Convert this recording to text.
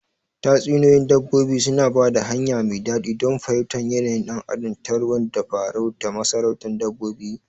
Tatsuniyoyin dabbobi suna ba da hanya mai daɗi don fahimtar yanayin ɗan adam ta ruwan tabarau na masarautar dabbobi.